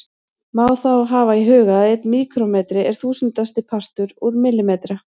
Má þá hafa í huga að einn míkrómetri er þúsundasti partur úr millimetra.